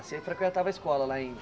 Você frequentava a escola lá em?